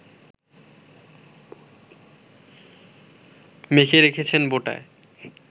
মেখে রেখেছেন বোঁটায়